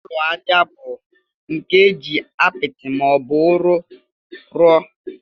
Ụlọ ajá bụ nke eji apịtị ma ọ bụ ụrọ́ rụọ.